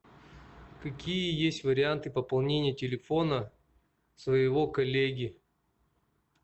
какие есть варианты пополнения телефона своего коллеги